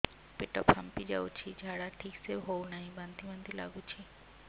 ପେଟ ଫାମ୍ପି ଯାଉଛି ଝାଡା ଠିକ ସେ ହଉନାହିଁ ବାନ୍ତି ବାନ୍ତି ଲଗୁଛି